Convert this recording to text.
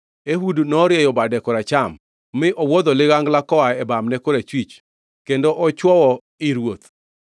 Ehud norieyo bade koracham, mi owuodho ligangla koa e bamne korachwich kendo ochwoyo ii ruoth.